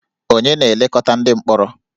Ònye na-elekọta ndị mkpọrọ?